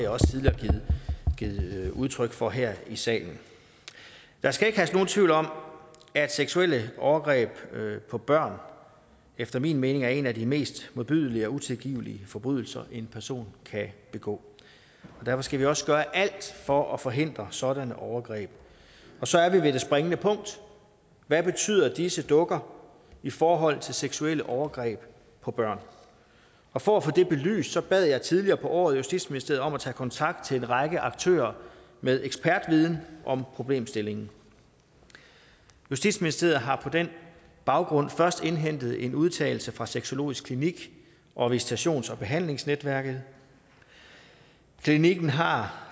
også tidligere givet udtryk for her i salen der skal ikke herske nogen tvivl om at seksuelle overgreb på børn efter min mening er en af de mest modbydelige og utilgivelige forbrydelser en person kan begå og derfor skal vi også gøre alt for at forhindre sådanne overgreb så er vi ved det springende punkt hvad betyder disse dukker i forhold til seksuelle overgreb på børn og for at få det belyst bad jeg tidligere på året justitsministeriet om at tage kontakt til en række aktører med ekspertviden om problemstillingen justitsministeriet har på den baggrund først indhentet en udtalelse fra sexologisk klinik og visitations og behandlingsnetværket klinikken har